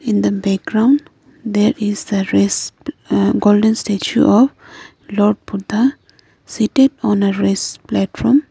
in the background there is the rest uh golden statue of lord Buddha seated on a rest platform.